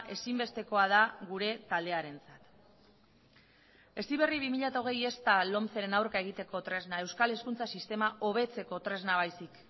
ezinbestekoa da gure taldearentzat heziberri bi mila hogei ez da lomceren aurka egiteko tresna euskal hezkuntza sistema hobetzeko tresna baizik